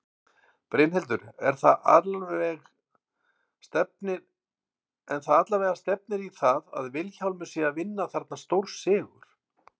Brynhildur: En það allavega stefnir í það að Vilhjálmur sé að vinna þarna stórsigur?